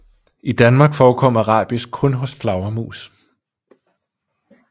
I Danmark forekommer rabies kun hos flagermus